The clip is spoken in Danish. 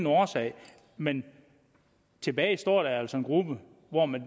årsag men tilbage står altså en gruppe hvor man